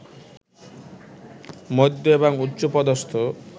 মধ্য এবং উচ্চ পদস্থ